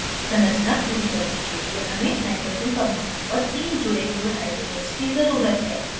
संरचना पूरी करने के लिए हमें nitrogen परमाणुओं पर तीन जुड़े हुए hydrogens की ज़रुरत है